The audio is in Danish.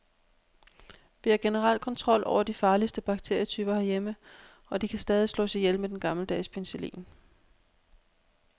Vi har generelt kontrol over de farligste bakterietyper herhjemme, og de kan stadig slås ihjel med den gammeldags og penicillin.